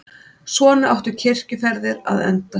Svona áttu kirkjuferðir að enda.